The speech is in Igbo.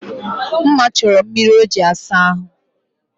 Mma chọrọ mmiri o ji asa ahụ